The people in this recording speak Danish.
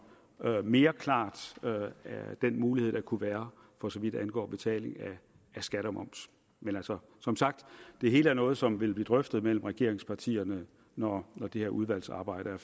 mere klart med den mulighed der kunne være for så vidt angår betaling af skat og moms men altså som sagt det hele er noget som vil blive drøftet mellem regeringspartierne når det her udvalgsarbejde